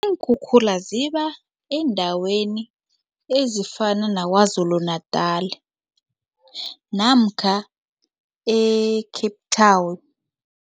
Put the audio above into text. Iinkhukhula ziba eendaweni ezifana naKwaZuluNatal namkha e-Cape Town.